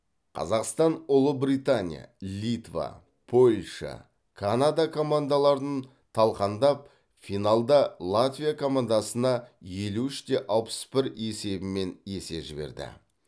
қазақстан ұлыбритания литва польша канада командаларын талқандап финалда латвия командасына елу үште алпыс бір есебімен есе жіберді